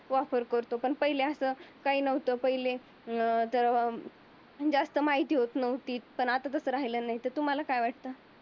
वापर करतो पण पहिले असं काही नव्हतं. अं त जास्त माहिती होत नव्हती पण आता तसं राहिलं नाही. त तुम्हाला काय वाटत?